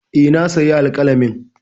E, na sayi alƙalamin.